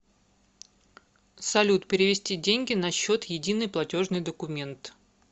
салют перевести деньги на счет единый платежный документ